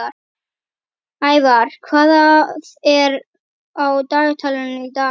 Ævar, hvað er á dagatalinu í dag?